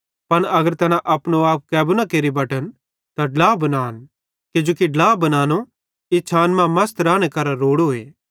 पन अगर तैना अपनो आप कैबू न केरि बटन त ड्ला बनान किजोकि ड्ला बनानो इच्छान मां मसत राने करां रोड़ोए